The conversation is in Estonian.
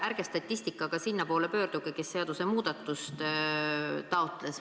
Ärge statistikaga sinna poole pöörduge, kes seadusemuudatust taotles.